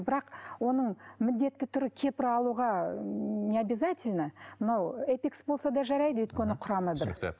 бірақ оның міндетті түрі кепра алуға необязательно мынау эпикс болса да жарайды өйткені құрамы бір түсінікті